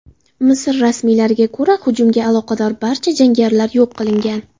Misr rasmiylariga ko‘ra, hujumga aloqador barcha jangarilar yo‘q qilingan.